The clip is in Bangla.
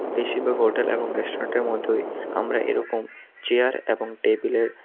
বেশিরভাগ হোটেল এবং রেস্টুরেন্টের মতই আমরা এরকম চেয়ার এবং টেবিলের --